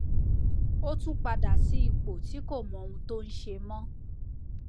ó tún padà sí ipò tí kò mọ ohun tó ń ṣe mọ